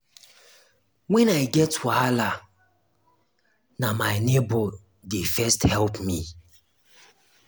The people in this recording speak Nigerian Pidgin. wen i get wahala na my nebor dey first help me.